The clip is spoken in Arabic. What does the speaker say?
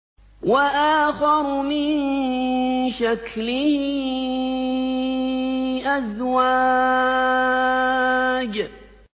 وَآخَرُ مِن شَكْلِهِ أَزْوَاجٌ